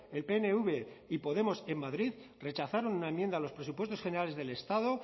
el pnv y podemos en madrid rechazaron una enmienda a los presupuestos generales del estado